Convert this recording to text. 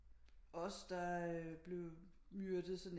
Også der blev myrdet sådan